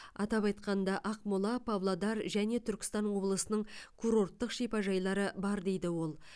атап айтқанда ақмола павлодар және түркістан облысының курорттық шипажайлары бар дейді ол